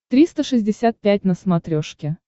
триста шестьдесят пять на смотрешке